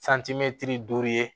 duuru ye